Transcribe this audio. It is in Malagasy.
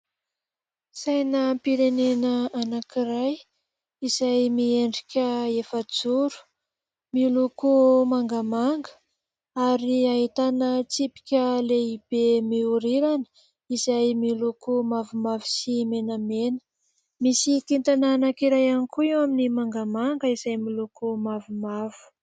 Sainam-pirenena anankiray izay miendrika efajoro, miloko mangamanga ary ahitana tsipika lehibe mihorirana izay miloko mavomavo sy menamena ; misy kintana anankiray ihany koa eo amin'ny mangamanga izay miloko mavomavo.